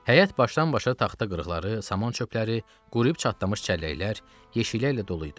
Həyət başdan-başa taxta qırıqları, saman çöpələri, quruyub çatdamış çəlləklər, yeşiklər ilə dolu idi.